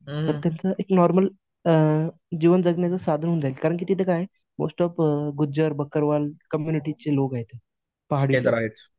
तर त्यांचं एक नॉर्मल अ जीवन जगण्याचं साधन होऊन जाईल कारण की तिथं काय आहे, मोस्ट ऑफ गुज्जर, बकरवाल कम्युनिटीचे लोक आहेत पहाडी